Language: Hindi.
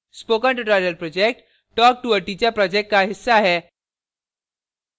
spoken tutorial project talktoa teacher project का हिस्सा है